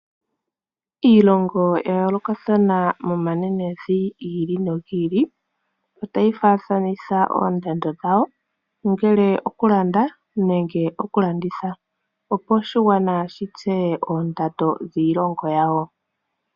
Iilongo ya yoolokathana momanenevi gi ili nogi ili otayi faathanitha oondando dhawo, ongele okulanda nenge okulanditha, opo oshigwana shi tseye oondando dhiilongo yawo.